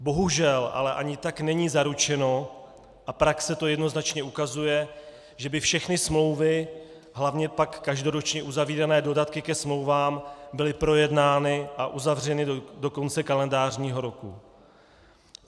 Bohužel ale ani tak není zaručeno, a praxe to jednoznačně ukazuje, že by všechny smlouvy, hlavně pak každoročně uzavírané dodatky ke smlouvám, byly projednány a uzavřeny do konce kalendářního roku.